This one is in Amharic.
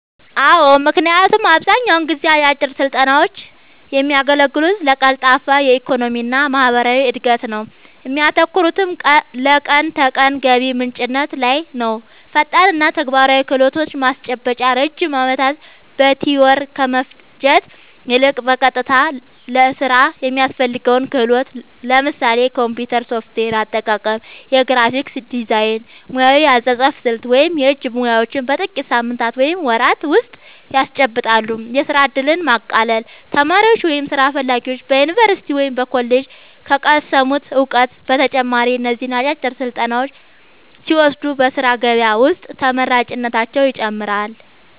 አዎ ምክንያቱም አብዛኛውን ጊዜ አጫጭር ስልጠናውች የሚያገለግሉት ለቀልጣፋ የኢኮኖሚና ማህበራዊ እድገት ነው እሚያተኩሩትም ለቀን ተቀን ገቢ ምንጭነት ላይ ነውፈጣንና ተግባራዊ ክህሎት ማስጨበጥ ረጅም ዓመታት በቲዎሪ ከመፍጀት ይልቅ፣ በቀጥታ ለሥራ የሚያስፈልገውን ክህሎት (ለምሳሌ የኮምፒውተር ሶፍትዌር አጠቃቀም፣ የግራፊክስ ዲዛይን፣ ሙያዊ የአጻጻፍ ስልት ወይም የእጅ ሙያዎች) በጥቂት ሳምንታት ወይም ወራት ውስጥ ያስጨብጣሉ። የሥራ ዕድልን ማቃለል : ተማሪዎች ወይም ሥራ ፈላጊዎች በዩኒቨርሲቲ ወይም በኮሌጅ ከቀሰሙት እውቀት በተጨማሪ እነዚህን አጫጭር ስልጠናዎች ሲወስዱ በሥራ ገበያ ውስጥ ተመራጭነታቸውን ይጨምረዋል።